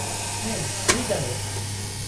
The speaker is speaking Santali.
-ᱦᱮᱸ , ᱦᱩᱭ ᱫᱟᱲᱮᱭᱟᱜᱼᱟ ᱾